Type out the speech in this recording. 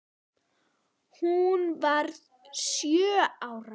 Hún varð sjö ára.